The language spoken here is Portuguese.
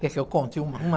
Quer que eu conte uma uma?